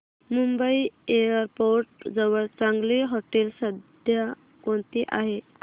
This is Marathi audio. मुंबई एअरपोर्ट जवळ चांगली हॉटेलं सध्या कोणती आहेत